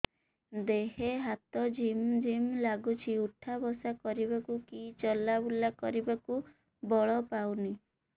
ଦେହେ ହାତ ଝିମ୍ ଝିମ୍ ଲାଗୁଚି ଉଠା ବସା କରିବାକୁ କି ଚଲା ବୁଲା କରିବାକୁ ବଳ ପାଉନି